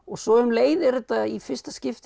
svo um leið er þetta í fyrsta skipti